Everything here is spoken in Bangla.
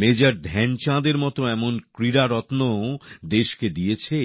মেজর ধ্যানচাঁদের মত ক্রীড়ারত্নকেও দেশকে দিয়েছে